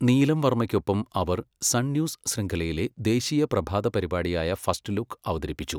നീലം വർമ്മയ്ക്കൊപ്പം അവർ Sun News ശൃംഖലയിലെ ദേശീയ പ്രഭാത പരിപാടിയായ ഫസ്റ്റ് ലുക്ക് അവതരിപ്പിച്ചു.